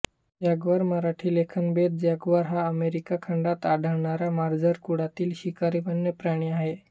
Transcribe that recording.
Jaguar Marathi लेखनभेद jaguar हा America खंडात आढळणारा मार्जार कुळातील शिकारी वन्यप्राणी आहे